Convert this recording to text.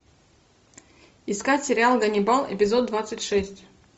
искать сериал ганнибал эпизод двадцать шесть